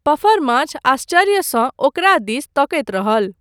पफरमाछ आश्चर्यसँ ओकरा दिसि तकैत रहल।